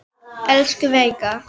Elsku Veiga.